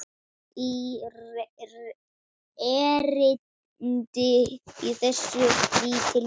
í erindi þessi lítil tvö.